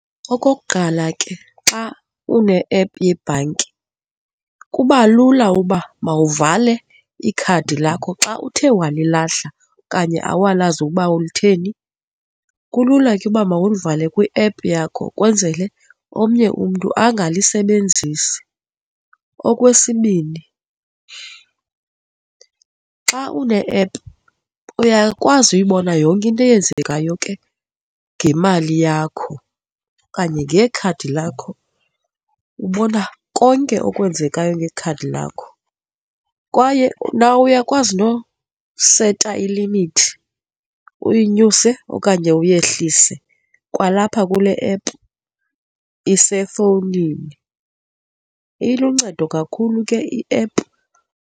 Okokuqala ke, xa une-ephu yebhanki kuba lula uba mawuvale ikhadi lakho xa uthe walilahla okanye awulazi ukuba ulitheni, kulula ke uba mawulivale kwi-ephu yakho kwenzele omnye umntu angalisebenzisi. Okwesibini, xa une-ephu uyakwazi uyibona yonke into eyenzekayo ke ngemali yakho okanye ngekhadi lakho, ubona konke okwenzekayo ngekhadi lakho. Kwaye nawe uyakwazi noseta ilimithi, uyinyuse okanye uyehlise, kwalapha kule app isefowunini. Iluncedo kakhulu ke i-ephu.